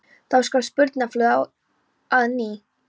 Þá skall spurningaflóðið á að nýju.